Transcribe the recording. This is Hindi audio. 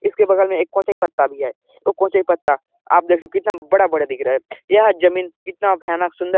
इसके बगल में एक कोचई पत्ता भी है यह कोचई पत्ता आप देख सकते हो कितना बड़ा -बड़ा दिख रहा है यह जमीन कितना भयानक सुंदर--